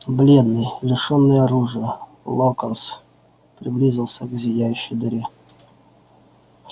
бледный лишённый оружия локонс приблизился к зияющей дыре